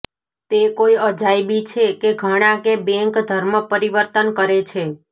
તે કોઈ અજાયબી છે કે ઘણા કે બેંક ધર્મપરિવર્તન કરે છે